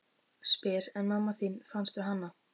Spyr: En mamma þín, fannstu hana?